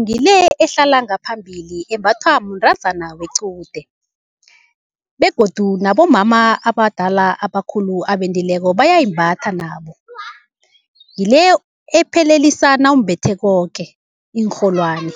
ngile ehlala ngaphambili embathwa mntazana wequde begodu nabomama abadala abakhulu abendileko bayayimbatha nabo. Ngile ephelelisa nawumbethe koke iinrholwani,